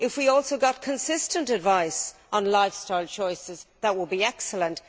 If we also got consistent advice on lifestyle choices, that would be excellent.